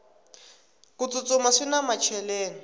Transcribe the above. ku tsutsuma swina macheleni